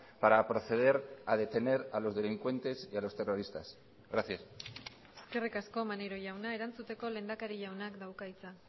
para proceder a detener a los delincuentes y a los terroristas gracias eskerrik asko maneiro jauna erantzuteko lehendakari jaunak dauka hitza